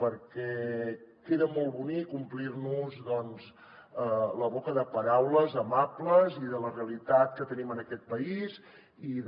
perquè queda molt bonic omplir nos doncs la boca de paraules amables i de la realitat que tenim en aquest país i de